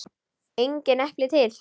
Engin epli til!